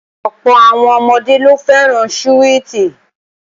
Ọ̀pọ̀ àwọn ọmọdé ló fẹ́ràn súwìtì